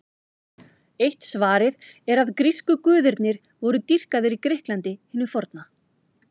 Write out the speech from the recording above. Eitt svarið er að grísku guðirnir voru dýrkaðir í Grikklandi hinu forna.